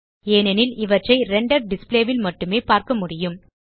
ஏனெனில் இவற்றை render display ல் மட்டுமே பார்க்க முடியும்